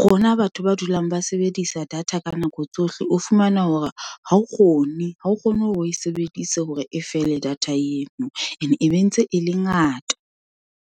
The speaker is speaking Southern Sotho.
rona batho ba dulang ba sebedisa data ka nako tsohle, o fumana hore ha o kgone, ha o kgone hore o e sebedise hore e fele data yeno. And e be ntse e le ngata.